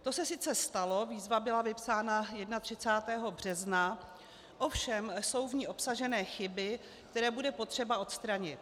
To se sice stalo, výzva byla vypsána 31. března, ovšem jsou v ní obsaženy chyby, které bude potřeba odstranit.